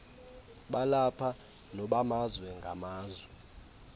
balapha nobamazwe ngamazwe